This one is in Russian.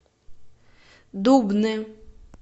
дубны